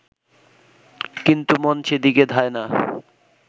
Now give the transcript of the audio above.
কিন্তু মন সেদিকে ধায় না